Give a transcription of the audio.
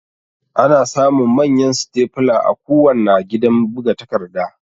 Ana samun Manyan Stepler a kuwanna gidan buga takarda